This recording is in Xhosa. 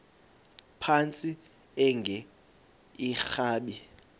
phantsi enge lrabi